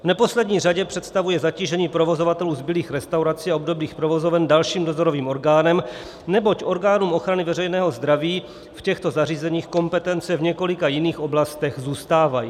V neposlední řadě představuje zatížení provozovatelů zbylých restaurací a obdobných provozoven dalším dozorovým orgánem, neboť orgánům ochrany veřejného zdraví v těchto zařízeních kompetence v několika jiných oblastech zůstávají.